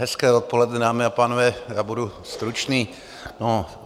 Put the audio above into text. Hezké odpoledne, dámy a pánové, já budu stručný.